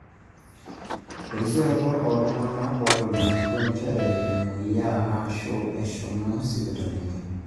erisioroto ooltung'anak ootolimutuo njere emweyiaa aashu ooshomi sipitali